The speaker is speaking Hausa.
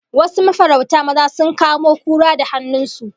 Wasu mafarauta maza sun kamo kura da hannun su